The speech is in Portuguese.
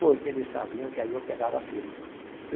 Porque eles sabiam que aí eu pegava firme.